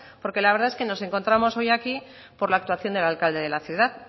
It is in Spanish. porque la verdad es que nos encontramos hoy aquí por la actuación del alcalde de la ciudad